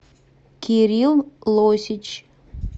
кирилл лосич